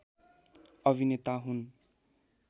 अभिनेता हुन्